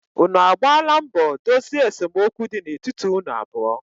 unu agbaala mbọ dozie esemokwu di na etiti unu abụọ?